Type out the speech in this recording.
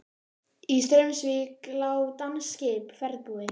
Í Straumsvík lá danskt skip, ferðbúið.